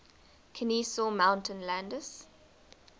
kenesaw mountain landis